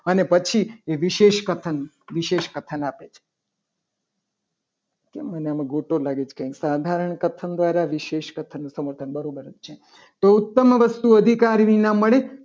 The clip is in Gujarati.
અને પછી એ વિશેષ કથન એ વિશેષ કથન આપે છે કેમ મને ગોટો લાગે છે. કંઈ સાધારણ કથન દ્વારા વિશેષ કથન દ્વારા કથન નું સમર્થન બરાબર જ છે. તો ઉત્તમ વસ્તુ અધિકાર વિના મળે.